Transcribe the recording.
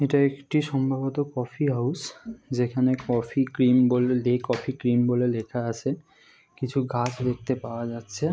এটা একটি সম্ভবত কফি হাউস যেখানে কফি কি্রিম কফি কি্রিম বলে লেখা আছে কিছু গাছ দেখতে পাওয়া যাচ্ছে ।